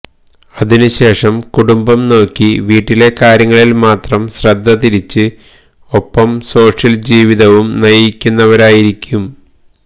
അതിനു ശേഷം കുടുംബം നോക്കി വീട്ടിലെ കാര്യങ്ങളിൽ മാത്രം ശ്രദ്ധ തിരിച്ച് ഒപ്പം സോഷ്യൽ ജീവിതവും നയിക്കുന്നവരായിരിക്കും